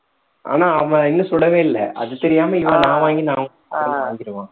ஆனா அவன் இன்னும் சுடவே இல்ல அது தெரியாம இவன் நான் வாங்கி நான் வாங்கிருவான்